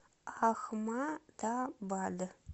ахмадабад